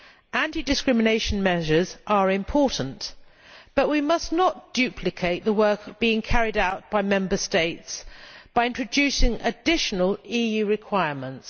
Anti discrimination measures are important, but we must not duplicate the work being carried out by Member States by introducing additional EU requirements.